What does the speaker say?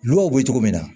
Low bɛ cogo min na